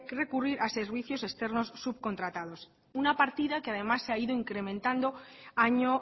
recurrir a servicios externos subcontratados una partida que además se ha ido incrementando año